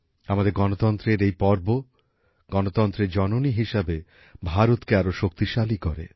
আমাদের গণতন্ত্রের এই পর্ব গণতন্ত্রের জননী হিসাবে ভারতকে আরও শক্তিশালী করে